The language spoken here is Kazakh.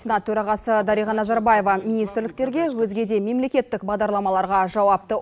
сенат төрағасы дариға назарбаева министрліктерге өзге де мемлекеттік бағдарламаларға жауапты